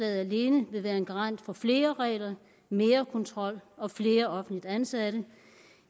alene vil være en garant for flere regler mere kontrol og flere offentligt ansatte